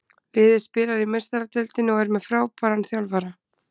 Liðið spilar í meistaradeildinni og er með frábæran þjálfara.